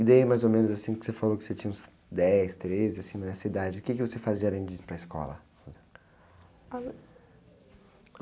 E daí mais ou menos assim que você falou que você tinha uns dez, treze, assim, nessa idade, o quê que você fazia além de ir para a escola?